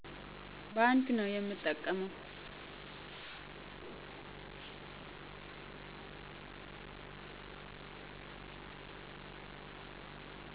ባንክ ነዉ የምጠቀመዉ